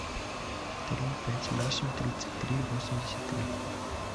три пять восемь тридцать три восемьдесят три